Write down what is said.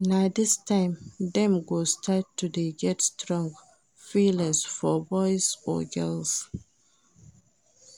Na dis time dem go start to dey get strong feelings for boys or girls.